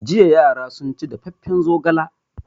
Jiya yara sun ci dafaffen zogala.